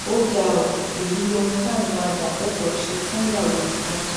ó ga ọ èyí lohun táwọn ajàfẹtọọ ṣe fúnyàwó mohbad